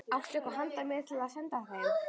Áttu eitthvað handa mér til að senda þeim?